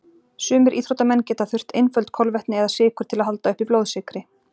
Sumir íþróttamenn geta þurft einföld kolvetni eða sykur til að halda uppi blóðsykri.